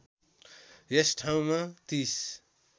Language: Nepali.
यस ठाउँमा ३०